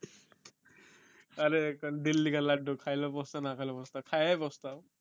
আরে একটা দিল্লি কা লাড্ডু খাইলেও পস্তাও না খাইলেও পস্তাও খায়াই পস্তাও